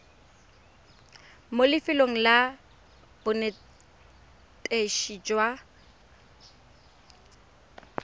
mo lefelong la bonetetshi jwa